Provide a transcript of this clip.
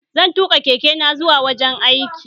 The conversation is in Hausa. Zan tuƙa keke na zuwa wajen aiki